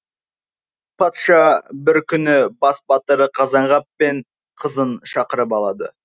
патша бір күні бас батыры қазанғап пен қызын шақырып алады